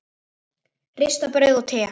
Ristað brauð og te.